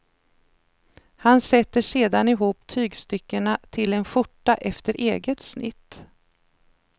Han sätter sedan ihop tygstyckena till en skjorta efter eget snitt.